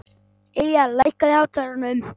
Ylja, lækkaðu í hátalaranum.